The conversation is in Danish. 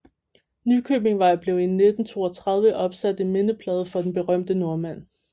Nykøbingvej blev i 1932 opsat en mindeplade for den berømte nordmand